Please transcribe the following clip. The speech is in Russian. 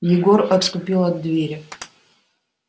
егор отступил от двери